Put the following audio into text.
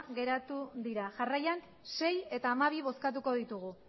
geratu dira jarraian sei eta hamabi bozkatuko ditugu